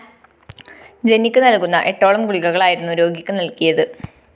ജന്നിക്ക് നല്‍കുന്ന എട്ടോളം ഗുളികകളായിരുന്നു രോഗിക്ക് നല്‍കിയത്